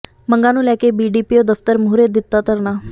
ਮੰਗਾਂ ਨੂੰ ਲੈ ਕੇ ਬੀਡੀਪੀਓ ਦਫਤਰ ਮੂਹਰੇ ਦਿੱਤਾ ਧਰਨਾ